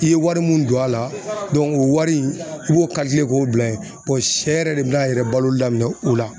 I ye wari mun don a la o wari i b'o k'o bila ye sɛ yɛrɛ de bina a yɛrɛ baloli daminɛn o la.